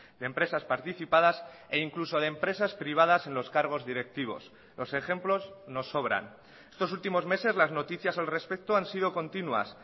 de empresas participadas e incluso de empresas privadas en los cargos directivos los ejemplos nos sobran estos últimos meses las noticias al respecto han sido continuas